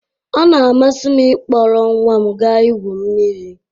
Ọ na-amasị m ịkpọrọ nwa m ga igwu mmiri